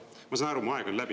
Ma saan aru, et mu aeg on läbi.